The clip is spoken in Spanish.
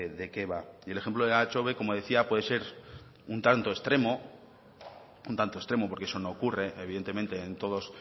de qué va y el ejemplo de elantxobe como decía puede ser un tanto extremo porque eso no ocurre evidentemente en todos